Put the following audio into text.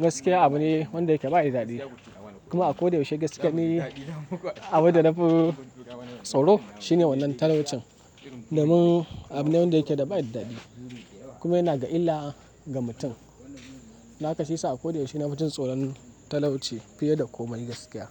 gaskiya abu ne wanda yake ba da dadi. Kuma a ko da yaushe gaskiya ne. Abin da nafi tsoro shine wannan talaucin. Domin abu ne wanda yake ba da dadi. Kuma yana ga illa ga mutum. Dakashi yasa a ko da yaushe na ji tsoron talauci fiye da komai gaskiya.